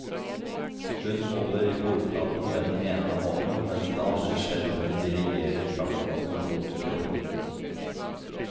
Hun holder i bordplaten med den ene hånden, mens den andre skjelvende dirigerer kaffekannen mot koppen.